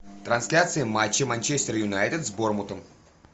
трансляция матча манчестер юнайтед с борнмутом